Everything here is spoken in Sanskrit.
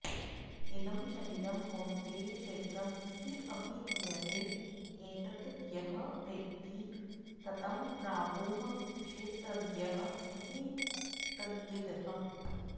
इदं शरीरं कौन्तेय क्षेत्रम् इति अभिधीयते एतत् यः वेत्ति तं प्राहुः क्षेत्रज्ञः इति तद्विदः